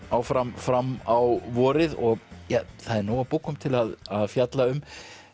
áfram fram á vorið og það er nóg af bókum til að fjalla um